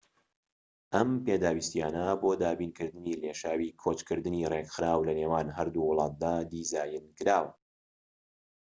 ئەم پێداویستیانە بۆ دابینکردنی لێشاوی کۆچکردنی ڕێکخراو لە نێوان هەردوو وڵاتدادا دیزاینکراوە